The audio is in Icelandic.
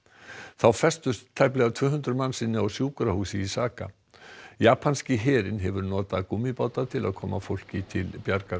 þá festust tæplega tvö hundruð manns inni á sjúkrahúsi í Saga japanski herinn hefur notað gúmmíbáta til að koma fólki til bjargar